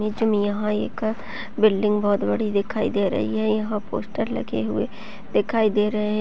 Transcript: नीचे मे यहाँ एक अ बिल्डिंग बहोत बड़ी दिखाई दे रही हैयहाँ पोस्टर लगे हुए हैं दिखाई दे रहे --